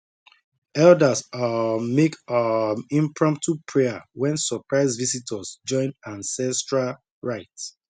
elders um make um impromptu prayer when surprise visitors join ancestral rite